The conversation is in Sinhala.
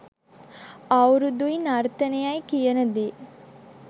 අවුරුදුයි නර්තනය කියනදේ